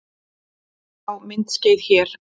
Sjá myndskeið hér